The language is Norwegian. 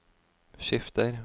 skifter